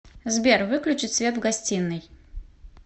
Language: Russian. сбер выключить свет в гостиной